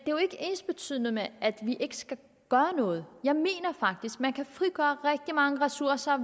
jo ikke ensbetydende med at vi ikke skal gøre noget jeg mener faktisk man kan frigøre rigtig mange ressourcer